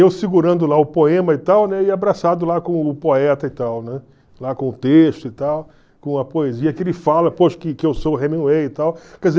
Eu segurando lá o poema e tal, né, e abraçado com o poeta e tal, né, lá com o texto e tal, com a poesia que ele fala, poxa, que que eu sou o Hemingway e tal.